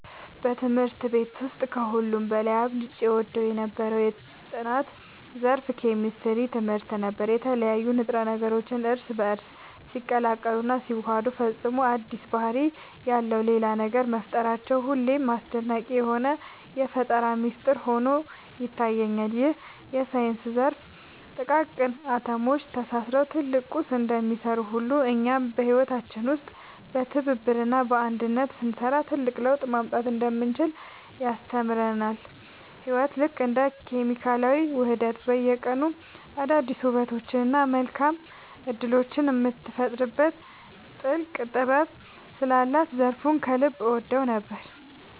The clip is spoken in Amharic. በትምህርት ቤት ውስጥ ከሁሉ በላይ አብልጬ እወደው የነበረው የጥናት ዘርፍ የኬሚስትሪ ትምህርት ነበር። የተለያዩ ንጥረ ነገሮች እርስ በእርስ ሲቀላቀሉና ሲዋሃዱ ፈጽሞ አዲስ ባህሪ ያለው ሌላ ነገር መፍጠራቸው ሁልጊዜም አስደናቂ የሆነ የፈጠራ ሚስጥር ሆኖ ይታየኛል። ይህ የሳይንስ ዘርፍ ጥቃቅን አቶሞች ተሳስረው ትልቅ ቁስ እንደሚሰሩ ሁሉ፣ እኛም በህይወታችን ውስጥ በትብብርና በአንድነት ስንሰራ ትልቅ ለውጥ ማምጣት እንደምንችል ያስተምረናል። ህይወት ልክ እንደ ኬሚካላዊ ውህደት በየቀኑ አዳዲስ ውበቶችንና መልካም እድሎችን የምትፈጥርበት ጥልቅ ጥበብ ስላላት ዘርፉን ከልብ እወደው ነበር።